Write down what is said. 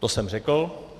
To jsem řekl.